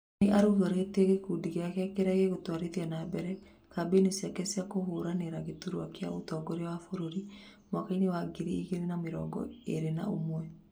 Nĩ arugũrĩtie gĩkundi kĩrĩa gĩgũtwarithia nambere kambĩini ciake cia kũhũranĩra gĩturwa kĩa ũtongoria wa bũrũri mwaka-inĩ wa ngiri igĩrĩ na mĩrongo ĩrĩ na ũmwe